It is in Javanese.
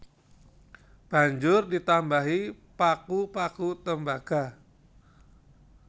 Banjur ditambahi paku paku tembaga